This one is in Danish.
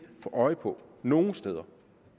få øje på nogen steder